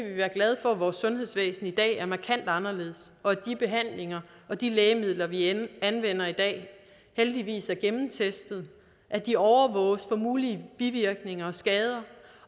vi være glade for at vores sundhedsvæsen i dag er markant anderledes og at de behandlinger og de lægemidler vi anvender i dag heldigvis er gennemtestet at de overvåges for mulige bivirkninger og skader